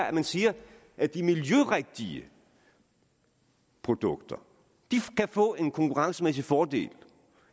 at man siger at de miljørigtige produkter kan få en konkurrencemæssig fordel